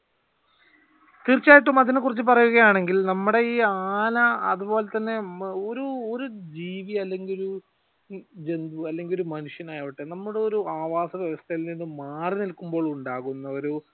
തീർച്ചയായിട്ടും അതിനെ കുറിച്ച് പറയുക ആണെങ്കിൽ നമ്മുടെ ഈ ആന അതുപോലെ തന്നെ ഒരു ജീവി അല്ലെങ്കിൽ ഒരു ഒരു ജന്തു അല്ലെങ്കിൽ ഒരു മനുഷ്യൻ ആവട്ടെ നമ്മൾ ഒരു ആവാസ വ്യവസ്ഥയിൽ നിന്നും മാറിനിൽക്കുമ്പോൾ ഉണ്ടാകുന്ന ഒരു